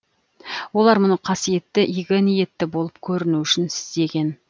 олар мұны қасиетті игі ниетті болып көрінуі үшін істеген